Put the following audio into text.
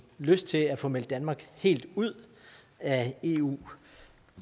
lyst til at få meldt danmark helt ud af eu